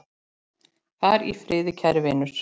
Far í friði, kæri vinur.